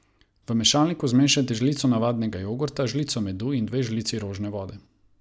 V mešalniku zmešajte žlico navadnega jogurta, žlico medu in dve žlici rožne vode.